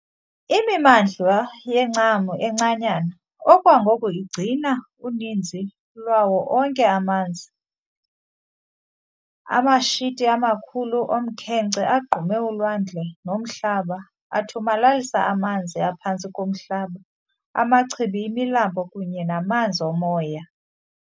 Imimandla yencam encanyana okwangoku igcina uninzi lwawo onke amanye amanzi anamashiti amakhulu omkhenkce agqume ulwandle nomhlaba, athomalalisa amanzi aphantsi komhlaba, amachibi, imilambo kunye namanzi omoya.